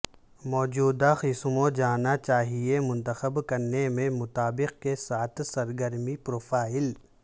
موجودہ قسموں جانا چاہئے منتخب کرنے میں مطابق کے ساتھ سرگرمی پروفائل